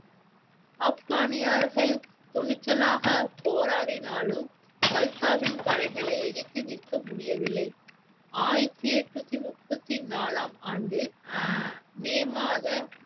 ஆப்கானியார்கள் துணிச்சலாக போராடினாலும் கல்சாவின் படைகளை எதிர்த்து நிற்க முடியவில்லை ஆயிரத்தி எட்நூத்தி முப்பத்தி நாலாம் ஆண்டு மே மாத